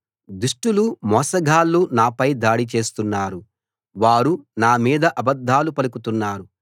దుష్టులు మోసగాళ్ళు నాపై దాడి చేస్తున్నారు వారు నా మీద అబద్ధాలు పలుకుతున్నారు